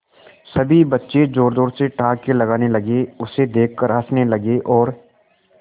सभी बच्चे जोर जोर से ठहाके लगाने लगे उसे देख कर हंसने लगे और